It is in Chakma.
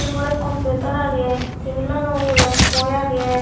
gorot computer agey tebel lano ugurey boi agey.